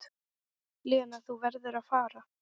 Lena, þú verður að fara!